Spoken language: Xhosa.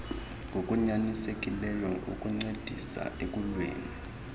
ngokunyanisekileyo ukuncedisa ekuliweni